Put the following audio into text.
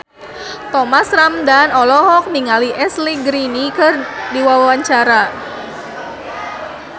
Thomas Ramdhan olohok ningali Ashley Greene keur diwawancara